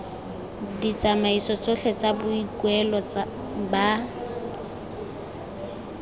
ditsamaiso tsotlhe tsa boikuelo ba